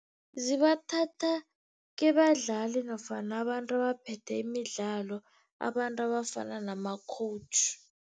Zibathatha kubadlali nofana abantu abaphethe imidlalo, abantu abafana nama-coach.